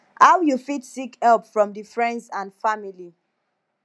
how you fit seek help from di friends and family